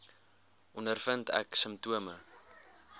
ondervind ek simptome